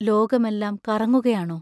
ലോകമെല്ലാം കറങ്ങുകയാണോ?